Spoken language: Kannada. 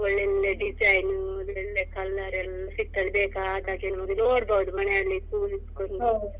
ಒಳ್ಳೊಳ್ಳೆ design ಒಳ್ಳೊಳ್ಳೆ colour ಎಲ್ಲ ಸಿಕ್ತದೆ ಬೇಕಾದಾಗೆ ನಿಮ್ಗೆ ನೋಡ್ಬಹುದು ಮನೆಯಲ್ಲಿ ಕುತ್ಕೊಂಡು.